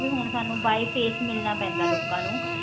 ਹੁਣ ਸਾਨੂੰ by face ਮਿਲਣਾ ਪੈਂਦਾ ਲੋਕਾਂ ਨੂੰ